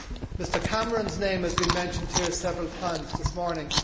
Mr Cameron's name has been mentioned here several times this morning.